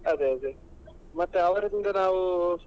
ಅದೇ ಅದೇ ಮತ್ತೆ ಅವರಿಂದ ನಾವು.